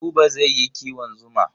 Buba zai yi kiwon zuma.